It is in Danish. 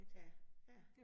Ja ja